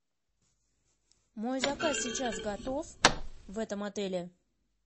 мой заказ сейчас готов в этом отеле